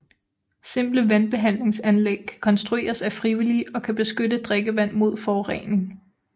Simple vandbehandlingsanlæg kan konstrueres af frivillige og kan beskytte drikkevand mod forurening